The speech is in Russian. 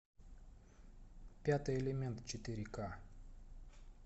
пятый элемент четыре ка